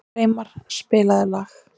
Freymar, spilaðu lag.